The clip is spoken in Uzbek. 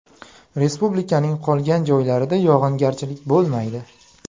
Respublikaning qolgan joylarida yog‘ingarchilik bo‘lmaydi.